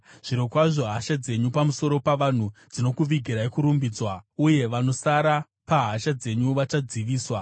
Zvirokwazvo hasha dzenyu pamusoro pavanhu dzinokuvigirai kurumbidzwa, uye vanosara pahasha dzenyu vachadziviswa.